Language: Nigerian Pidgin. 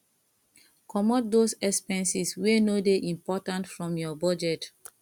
comot those expenses wey no dey important from your budget